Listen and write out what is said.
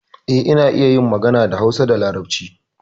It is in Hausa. Eh, ina iya yin magana da Hausa da Larabci.